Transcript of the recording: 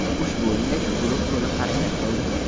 Ushbu o‘yinda Shukurov to‘liq harakat qildi.